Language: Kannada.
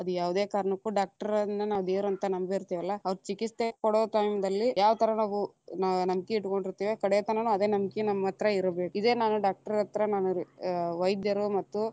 ಅದ ಯಾವದೇ ಕಾರಣಕ್ಕೂ doctor ನ್ನ ನಾವ ದೇವರಂತ ನಂಬಿತೇ೯ವಲ್ಲಾ ಅವ್ರ ಚಿಕಿತ್ಸೆ ಕೊಡೊ time ದಲ್ಲಿ ಯಾವ ಥರಾ ನಾವ್‌ ನಂಬಿಕೆ ಇಟ್ಟಗೊಂಡಿರತೇವಿ ಕಡೆ ತನಾನು ಅದ ನಂಬಕಿ ನಮ್ಮ ಹತ್ರ ಇರಬೇಕ, ಇದೇ ನಾನು doctor ಹತ್ರ ನಾನರೀ ಅ ವೈದ್ಯರು ಮತ್ತು.